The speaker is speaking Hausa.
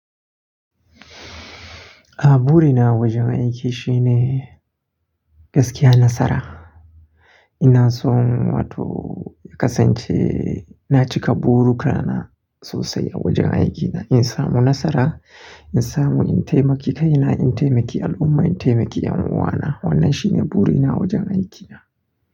A burina wajen aiki shine, gaskiya nasara. Ina son wato ya kasance, na cika buruka na sosai a wajen aikina. In samu nasara, in samu in taimaki kaina, in taimaki al'umma, in taimaki 'yan uwana. Wannan shine burina wajen aikina.